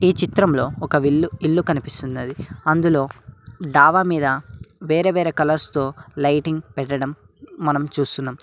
ఈ చిత్రంలో ఒక విల్లు ఇల్లు కనిపిస్తున్నది అందులో డాబా మీద వేరే వేరే కలర్స్ తో లైటింగ్ పెట్టడం మనం చూస్తున్నాం.